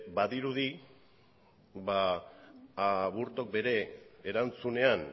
badirudi ba aburtok bere erantzunean